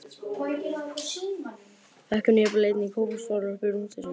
Fékk hún jafnvel einnig kókosbollur upp í rúm til sín.